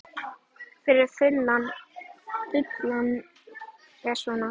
Fyrri þulan er svona